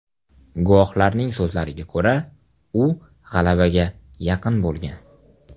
Guvohlarning so‘zlariga ko‘ra, u g‘alabaga yaqin bo‘lgan.